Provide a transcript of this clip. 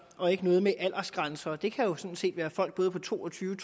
og ikke noget med aldersgrænser det kan jo sådan set både være folk på to og tyve